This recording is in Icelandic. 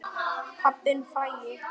Pabbinn frægi.